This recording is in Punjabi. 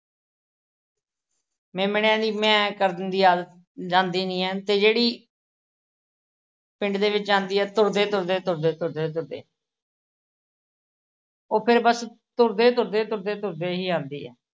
ਮੇਮਣਿਆਂ ਦੀ ਮੈਂਅ ਕਰਨ ਦੀ ਆਦਤ ਜਾਂਦੀ ਨੀ ਐ। ਤੇ ਜਿਹੜੀ ਪਿੰਡ ਦੇ ਵਿੱਚ ਆਉਂਦੀ ਐ ਤੁਰਦੇ ਤੁਰਦੇ ਤੁਰਦੇ ਤੁਰਦੇ ਤੁਰਦੇ। ਉਹ ਫਿਰ ਬੱਸ ਤੁਰਦੇ ਤੁਰਦੇ ਤੁਰਦੇ ਤੁਰਦੇ ਹੀ ਆਉਂਦੀ ਐ।